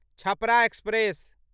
Chhapra express